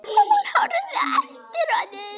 Hún horfði á eftir honum.